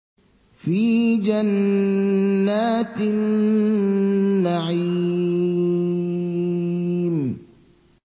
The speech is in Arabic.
فِي جَنَّاتِ النَّعِيمِ